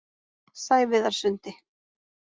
Sæviðarsundi